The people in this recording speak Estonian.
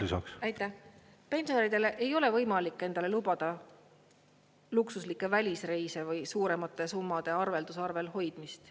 Lisaks, pensionäridel ei ole võimalik endale lubada luksuslikke välisreise või suuremate summade arveldusarvel hoidmist.